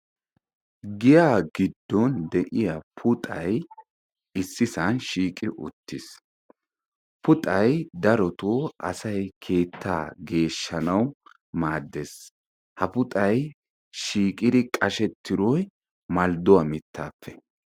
Giyaa giddon de'iya puxayi issisaa shiiqi uttis. Puxayi asayi darotoo keettaa geeshshanawu maaddes. Ha puxayi shiiqidi qashettidoyi maldduwa mittaappe.